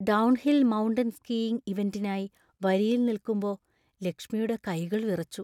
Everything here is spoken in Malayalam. ഡൗൺഹിൽ മൗണ്ടൻ സ്കീയിങ് ഇവന്‍റിനായി വരിയിൽ നിൽക്കുമ്പോ ലക്ഷ്മിയുടെ കൈകൾ വിറച്ചു.